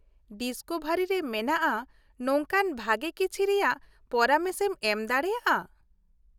Discovery ᱨᱮ ᱢᱮᱱᱟᱜᱼᱟ ᱱᱚᱝᱠᱟᱱ ᱵᱷᱟᱹᱜᱤ ᱠᱤᱪᱷᱤ ᱨᱮᱭᱟᱜ ᱯᱚᱨᱟᱢᱮᱥ ᱮᱢ ᱮᱢ ᱫᱟᱲᱮᱭᱟᱜ-ᱟ ?